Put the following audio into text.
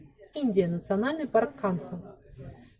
индия национальный парк канха